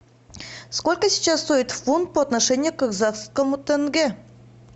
сколько сейчас стоит фунт по отношению к казахскому тенге